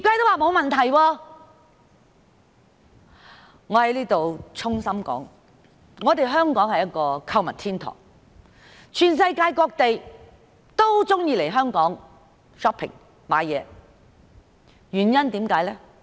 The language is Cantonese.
我在此衷心指出，香港是一個購物天堂，世界各地的人也喜歡來香港購物。